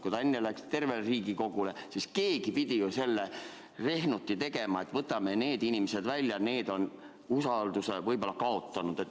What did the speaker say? Kui enne läks info tervele Riigikogule, siis nüüd keegi pidi ju tegema selle rehnuti, et võtame need inimesed välja, nad on usalduse võib-olla kaotanud.